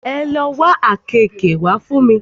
Ẹ lo wá àkeekee wá fún mi!